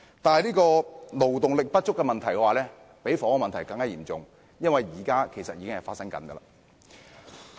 不過，勞動力不足的問題比房屋問題嚴重，因為此問題現在已經發生。